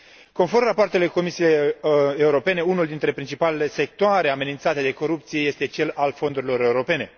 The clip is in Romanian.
Conform rapoartelor Comisiei Europene, unul dintre principalele sectoare amenințate de corupție este cel al fondurilor europene.